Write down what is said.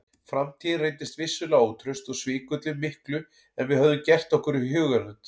Framtíðin reyndist vissulega ótraust og svikulli miklu en við höfðum gert okkur í hugarlund.